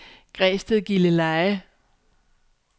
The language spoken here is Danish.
Græsted-Gilleleje